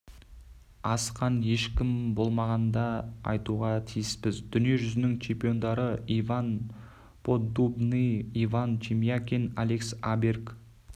асқан ешкім болмағанын да айтуға тиіспіз дүние жүзінің чемпиондары иван поддубный иван шемякин алекс аберг